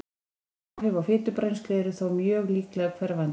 Bein áhrif á fitubrennslu eru þó mjög líklega hverfandi.